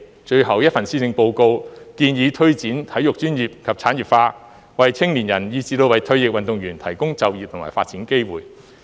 最後一份施政報告建議推展體育專業及產業化，為青年人以至為退役運動員提供就業和發展機會。